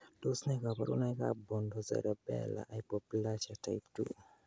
Tos nee koborunoikab Pontocerebellar hypoplasia type 2?